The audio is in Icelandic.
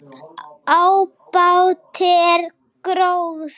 Ábati er gróði.